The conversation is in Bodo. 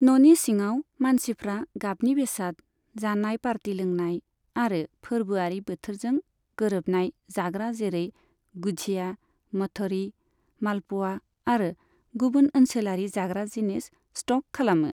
न'नि सिङाव, मानसिफ्रा गाबनि बेसाद, जानाय, पार्टी लोंनाय आरो फोरबोआरि बोथोरजों गोरोबनाय जाग्रा जेरै गुझिया, मठरी, मालप'आ आरो गुबुन ओनसोलारि जाग्रा जिनिस स्ट'क खालामो।